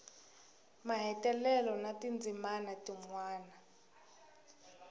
mahetelelo na tindzimana tin wana